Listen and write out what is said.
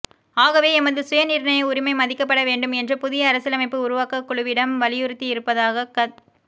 ஆகவே எமது சுயநிர்ணய உரிமை மதிக்கப்பட வேண்டும் என்று புதிய அரசியலமைப்பு உருவாக்கக்குழுவிடம் வலியுறுத்தியிருப்பதாகத்